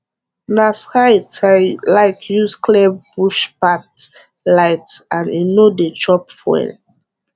na scythe i like use clear bush pathe light and e no dey chop fuel